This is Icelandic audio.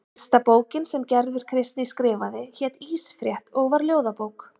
Fyrsta bókin sem Gerður Kristný skrifaði hét Ísfrétt og var ljóðabók.